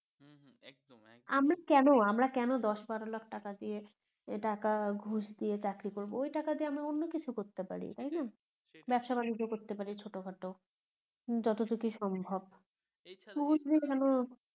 আমরা কেন আমরা কেন দশ বারো লাখ টাকা দিয়ে টাকা ঘুষ দিয়ে চাকরি করবো ওই টাকা দিয়ে আমরা অন্য কিছু করতে পারি তাইনা ব্যবসা বাণিজ্য করতে পারি ছোট খাটো যতটুকুই সম্ভব